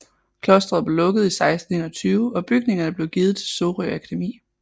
Klostret blev lukket i 1621 og bygningerne blev givet til Sorø Akademi